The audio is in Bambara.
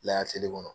Layɛlɛ feere kɔnɔ